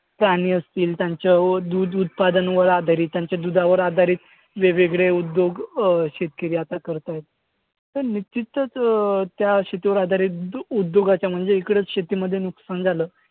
प्राणी असतील. त्यांच्या दूध उत्पादनावर आधारित, त्यांच्या दुधावर आधारित वेगवेगळे उद्योग अं शेतकरी आता करत आहेत. पण तिथंच अं त्या शेतीवर आधारित उडउद्योगाचा म्हणजे इकडं शेतीमध्ये नुकसान झालं.